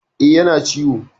E, yana ciwo.